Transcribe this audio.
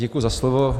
Děkuji za slovo.